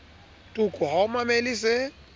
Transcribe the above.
toko ha o mamele se